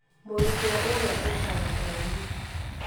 Mũrutwo ũrĩa aikaraga kũraihu